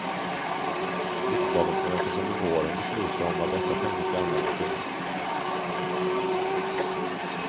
Riksdagen förväntas under våren besluta om vad dessa pengar ska användas till.